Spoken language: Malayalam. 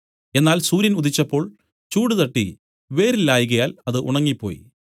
എന്നാൽ സൂര്യൻ ഉദിച്ചപ്പോൾ ചൂടുതട്ടി വേര് ഇല്ലായ്കയാൽ അത് ഉണങ്ങിപ്പോയി